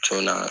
Jɔn na